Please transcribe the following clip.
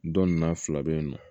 Dɔn nunnu na fila be yen nɔ